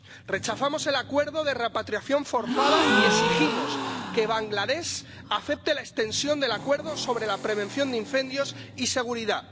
Rechazamos el acuerdo de repatriación forzada y exigimos que Bangladés acepte la extensión del Acuerdo sobre Prevención de Incendios y Seguridad.